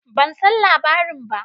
Ban san labarin ba.